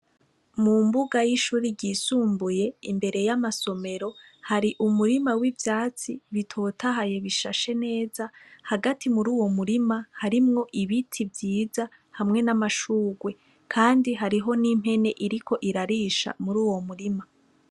Mu mbuga y'ishure ryisumbuye, imbere y'amasomero, hari umurima w'ivyatsi bitotahaye bishashe neza. Hagati muri uwo murima harimwo ibiti vyiza, hamwe n'amashurwe. Kandi hariho n'impene iriko irarisha muri uwo murima.